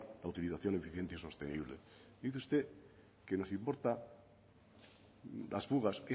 la utilización eficiente y sostenible dice usted que les importa las fugas